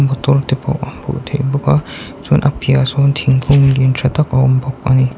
motor te pawh a hmuh theih bawk a chuan a piahah sawn thingkung lian tha tak a awm bawk a ni.